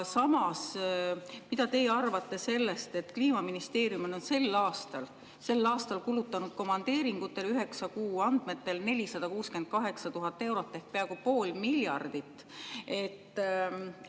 Mida teie arvate sellest, et Kliimaministeerium on sel aastal kulutanud komandeeringutele üheksa kuu andmetel 468 000 eurot ehk peaaegu pool?